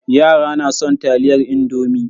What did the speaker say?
Yara na son taliyar indomi.